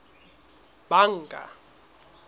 banka